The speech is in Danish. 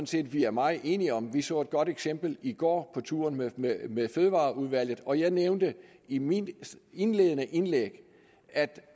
set at vi er meget enige om vi så et godt eksempel i går på turen med med fødevareudvalget og jeg nævnte i mit indledende indlæg at